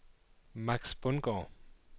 Max Bundgaard